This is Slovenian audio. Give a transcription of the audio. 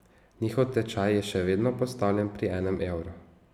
Njihov tečaj je še vedno postavljen pri enem evru.